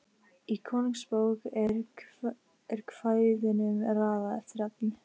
Í Konungsbók er kvæðunum raðað eftir efni.